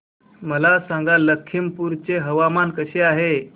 मला सांगा लखीमपुर चे हवामान कसे आहे